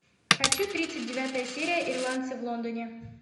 хочу тридцать девятая серия ирландцы в лондоне